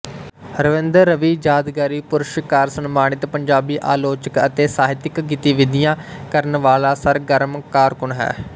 ਰਵਿੰਦਰ ਰਵੀ ਯਾਦਗਾਰੀ ਪੁਰਸਕਾਰ ਸਨਮਾਨਿਤ ਪੰਜਾਬੀ ਆਲੋਚਕ ਅਤੇ ਸਾਹਿਤਕ ਗਤੀਵਿਧੀਆਂ ਕਰਨ ਵਾਲਾ ਸਰਗਰਮ ਕਾਰਕੁਨ ਹੈ